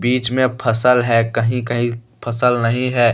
बीच में फसल है। कहीं कहीं फसल नहीं है।